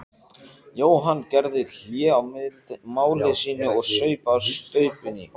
Jóhann gerði hlé á máli sínu og saup á staupinu.